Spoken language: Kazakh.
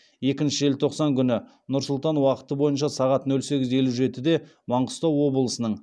екінші желтоқсан күні нұр сұлтан уақыты бойынша сағат нөл сегіз елу жетіде маңғыстау облысының